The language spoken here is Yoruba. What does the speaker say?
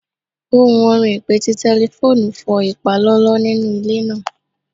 Ohun orin ipe ti tẹlifoonu fọ ipalọlọ ninu ile naa